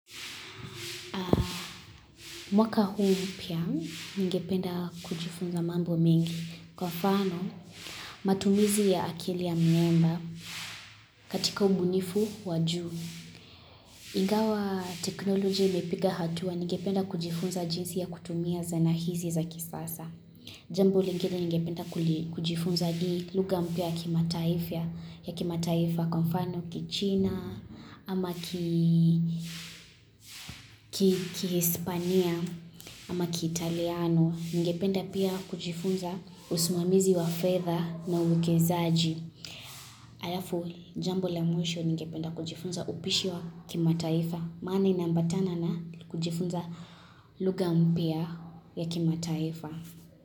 Mwaka huu mpya ningependa kujifunza mambo mengi kwa mfano matumizi ya akili ya mnemba katika ubunifu wa juu. Ingawa teknolojia imepiga hatua ningependa kujifunza jinsi ya kutumia zana hizi za kisasa. Jambo lingine ningependa kujifunza ni lugha mpya kimataifa ya kimataifa kwa mfano kichina ama kihispania ama kiitaliano. Ningependa pia kujifunza usimamizi wa fedha na uwekezaji. Alafu jambo la mwisho ningependa kujifunza upishi wa kimataifa. Maana inaambatana na kujifunza lugha mpya ya kimataifa.